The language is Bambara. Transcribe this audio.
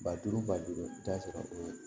Ba duuru ba duuru i bi taa sɔrɔ o